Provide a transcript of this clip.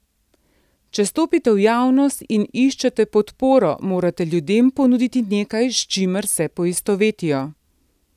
Če stopite v javnost in iščete podporo, morate ljudem ponuditi nekaj, s čimer se poistovetijo.